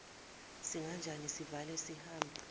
kunganjani sivale sihambe